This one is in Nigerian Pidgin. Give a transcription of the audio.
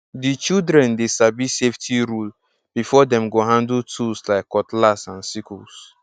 the children dey sabi safety rule before dem go handle tools like cutlass and sickles